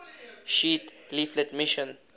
sheet leaflet mission